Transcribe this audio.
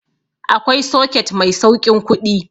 Akwai soket mai sauƙin kuɗi